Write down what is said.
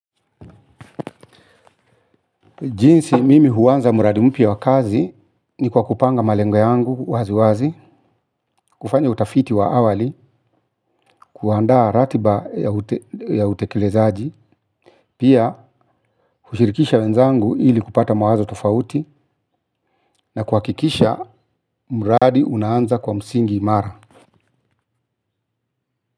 Jinsi mimi huanza mradi mpya wa kazi ni kwa kupanga malengo yangu waziwazi, kufanya utafiti wa awali, kuandaa ratiba ya utekelezaaji, pia kushirikisha wenzangu ili kupata mawazo tofauti na kuhakikisha mradi unaanza kwa msingi imara.